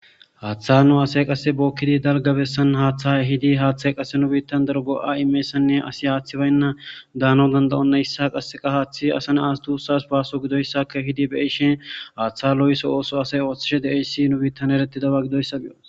haththa nu besn bokidi asay dalga beean ehidi haththy qase nu bittan go'a imizsysako asiy haththay bayna danaw dandayena asa Nas dussas basso gididaysa kehidi beyishin haththa Lo'oso asay othishin de'es nu bittan eretidoba gidoysa beyos